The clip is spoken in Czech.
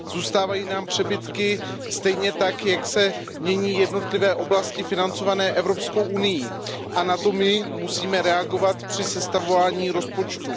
Zůstávají nám přebytky, stejně tak jako se mění jednotlivé oblasti financované Evropskou unií a na to my musíme reagovat při sestavování rozpočtu.